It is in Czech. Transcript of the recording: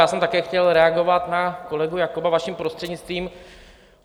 Já jsem také chtěl reagovat na kolegu Jakoba, vaším prostřednictvím.